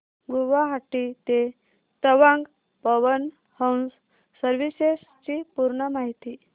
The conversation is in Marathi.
गुवाहाटी ते तवांग पवन हंस सर्विसेस ची पूर्ण माहिती